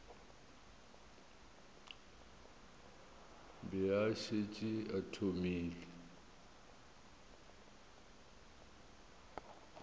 be a šetše a thomile